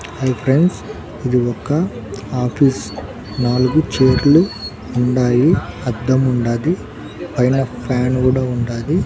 Hi friends ఇది ఒక office నాలుగు చోట్లు ఉండాయి అద్దం ఉండాది పైన ఫ్యాన్ కూడా ఉండాది.